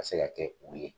Ka se ka kɛ u ye